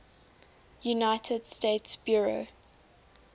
united states bureau